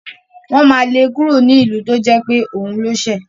Wọ́n ma le kúrò nílùú tó jẹ́ pé òun ló ṣẹ̀